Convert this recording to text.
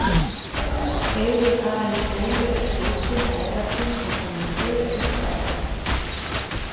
Heyrir aðeins óljós hrópin og köllin þar sem hún geysist áfram.